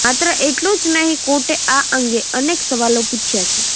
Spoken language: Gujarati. માત્ર એટલું જ નહીં કોર્ટે આ અંગે અનેક સવાલો પૂછ્યા છે